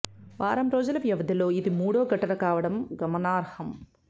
వారం రోజుల వ్యవధిలో ఇది మూడో ఘటన కావడం గమనార్హం